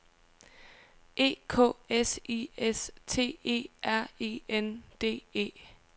E K S I S T E R E N D E